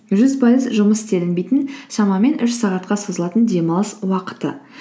жүз пайыз жұмыс істелінбейтін шамамен үш сағатқа созылатын демалыс уақыты